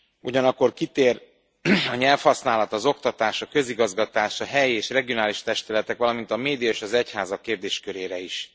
Ugyanakkor kitér a nyelvhasználat, az oktatás, a közigazgatás, a helyi és regionális testületek, valamint a média és az egyházak kérdéskörére is.